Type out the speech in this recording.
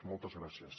moltes gràcies